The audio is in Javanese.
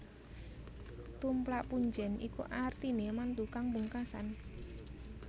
Tumplak punjèn iku artiné mantu kang pungkasan